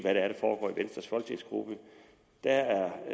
venstres folketingsgruppe